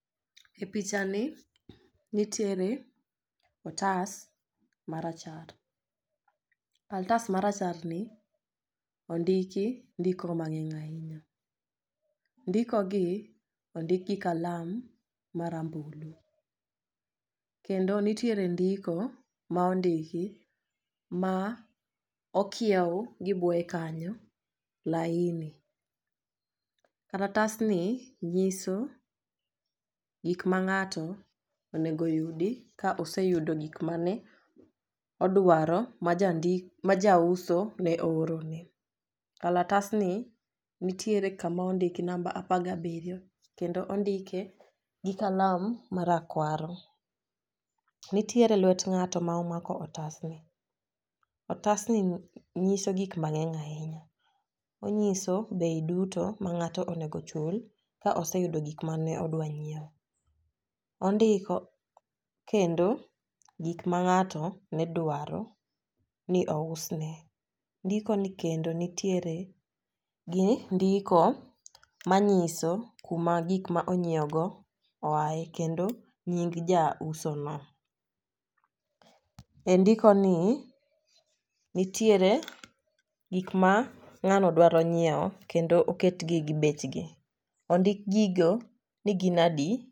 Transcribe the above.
E picha ni nitiere otas marachar kalatas marachar ni ondiki ndiko mang'eny ahinya. Ndiko gi ondik gi kalam marambulu kendo nitiere ndiko ma ondiki ma okiew gi buoye kanyo laini. Karatas ni nyiso gik ma ng'ato onego yudi ka oseyudo gik mane odwaro ma jandi majauso ne ooro ne . Kalatas ni nitiere kama ondik namba apar gabiriyo kendo ondike gi kalam marakwaro. Nitiere lwet ng'ato ma omako otasni. Otasni nyiso gik mang'eny ahinya onyiso bei duto ma ng'ato onego chul ka oseyudo gik mane odwa nyiewo . Ondiko kendo gik ma ng'ato ne dwaro ni ousne. Ndiko ni kendo nitiere gi ndiko manyiso kuma gik ma onyiew go oaye kendo nying jauso no . E ndiko ni nitiere gik ma ng'ano dwaro nyiewo kendo oketgi gi bechgi ondik gigo ni gin adi.